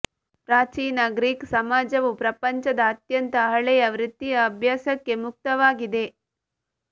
ಪ್ರಾಚೀನ ಗ್ರೀಕ್ ಸಮಾಜವು ಪ್ರಪಂಚದ ಅತ್ಯಂತ ಹಳೆಯ ವೃತ್ತಿಯ ಅಭ್ಯಾಸಕ್ಕೆ ಮುಕ್ತವಾಗಿದೆ